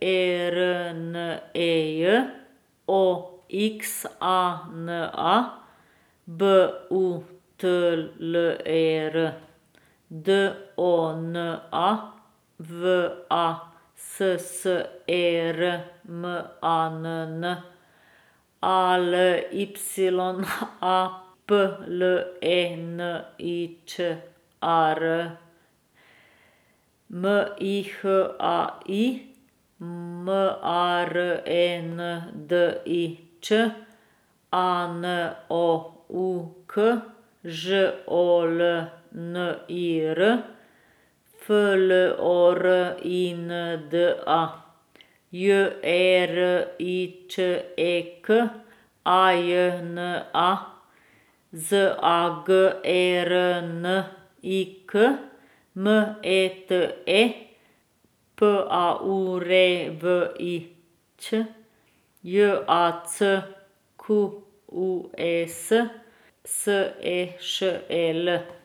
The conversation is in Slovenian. E R N E J; O X A N A, B U T L E R; D O N A, V A S S E R M A N N; A L Y A, P L E N I Č A R; M I H A I, M A R E N D I Č; A N O U K, Ž O L N I R; F L O R I N D A, J E R I Č E K; A J N A, Z A G E R N I K; M E T E, P A U R E V I Ć; J A C Q U E S, S E Š E L.